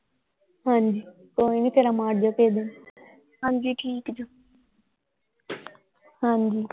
ਹਾਂਜੀ ਕੋਈ ਨਹੀਂ ਫੇਰਾ ਮਾਰ ਜਿਓ ਕਿਸੇ ਦਿਨ ਹਾਂਜੀ ਠੀਕ ਜੋ ਹਾਂਜੀ ।